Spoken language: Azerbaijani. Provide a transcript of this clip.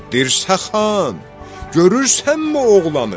Dirsə xan, görürsənmi oğlanı?